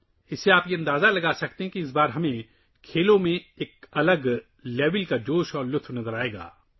اس سے آپ اندازہ لگا سکتے ہیں کہ اس بار ہم کھیلوں میں ایک الگ سطح کا جوش دیکھیں گے